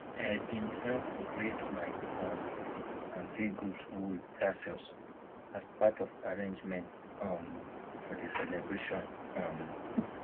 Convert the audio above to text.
i been help braid my um aunty goat wool tassels as part of arrangements um for the celebration um